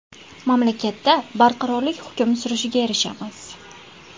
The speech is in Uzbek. Mamlakatda barqarorlik hukm surishiga erishamiz.